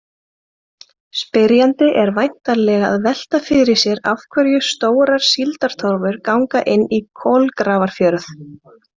Spyrjandi er væntanlega að velta fyrir sér af hverju stórar síldartorfur ganga inn í Kolgrafafjörð.